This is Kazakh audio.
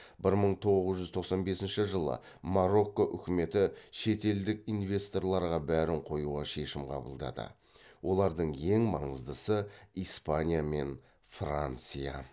бір мың тоғыз жүз тоқсан бесінші жылы марокко үкіметі шетелдік инвесторларға бәрін қоюға шешім қабылдады олардың ең маңыздысы испания мен франция